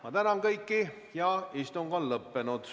Ma tänan kõiki ja istung on lõppenud.